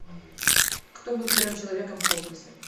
кто был первым человеком в космосе